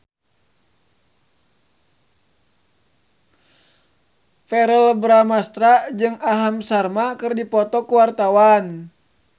Verrell Bramastra jeung Aham Sharma keur dipoto ku wartawan